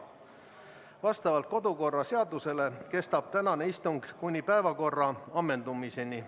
Vastavalt kodukorraseadusele kestab tänane istung kuni päevakorra ammendumiseni.